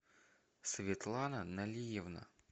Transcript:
светлана налиевна